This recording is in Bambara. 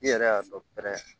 I yɛrɛ y'a dɔn pɛrɛ